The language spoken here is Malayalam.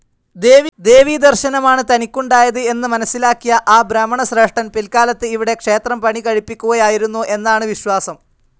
ദേവീ ദർശ്ശനമാണ് തനിക്കുണ്ടായത് എന്ന് മനസ്സിലാക്കിയ ആ ബ്രാഹ്മണ ശ്രേഷ്ഠൻ‌ പിൽക്കാലത്ത് ഇവിടെ ക്ഷേത്രം പണികഴിപ്പിക്കുകയായിരുന്നു എന്നാണ് വിശ്വാസം.